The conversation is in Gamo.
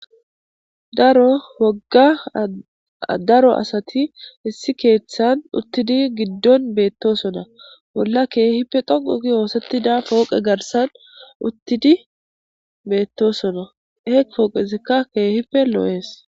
Daro wogga daro asati hessi keeththan uttidi giddon beettosona bolla keehipfe dhoqugi hoosettida pooqe garsan uttidi beettosona heeq fooqesekka keehipe loo'ees.